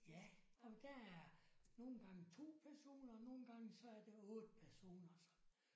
Ja og der er nogle gange 2 personer og nogle gange så er der 8 personer så